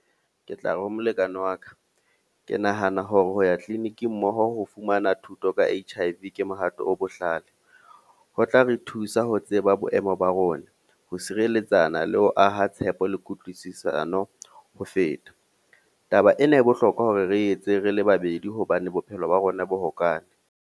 Ke tla re ha molekane wa ka. Ke nahana hore ho ya clinic-ing mmoho ho fumana thuto ka H_I_V ke mohato o bohlale. Ho tla re thusa ho tseba boemo ba rona rona, ho sireletsa bana le ho aha tshepo le kutlwisisano ho feta. Taba ena e bohlokwa hore re etse rele babedi hobane bophelo ba rona bo hokae.